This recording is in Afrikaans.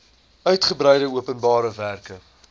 uigebreide openbare werke